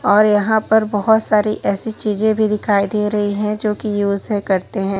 और यहां पर बहोत सारी ऐसी चीजें भी दिखाई दे रही है जो कि यूज करते है।